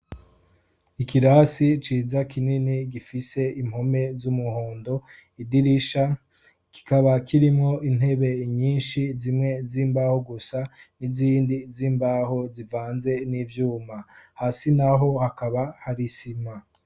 ikirasi ciza kinini gifise impome z'umuhondo idirisha kikaba kirimwo intebe nyinshi zimwe z'imbaho gusa n'izindi z'imbaho zivanze n'ivyuma hasi naho hakaba hari sima